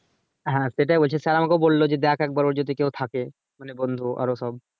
হ্যাঁ সেটাই বলছি sir আমাকে বললো যে দেখ একবার ওর যদি কেও থাকে মানে বন্ধু আরো সব